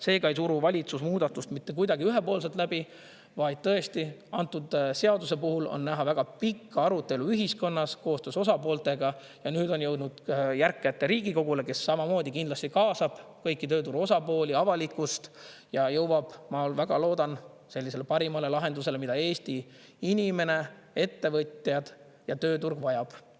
Seega ei suru valitsus muudatust mitte kuidagi ühepoolselt läbi, vaid tõesti, antud seaduse puhul on näha väga pikka arutelu ühiskonnas koostöös osapooltega ja nüüd on jõudnud järg kätte Riigikogule, kes samamoodi kindlasti kaasab kõiki tööturu osapooli, avalikkust ja jõuab, ma väga loodan, sellisele parimale lahendusele, mida Eesti inimene, ettevõtjad ja tööturg vajab.